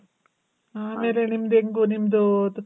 ಆಮೇಲೆ ನಿಮ್ದು ಹೆಂಗು ನಿಮ್ದು